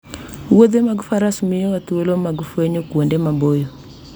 Wuodhe meke faras miyowa thuolo mar fwenyo kuonde maboyo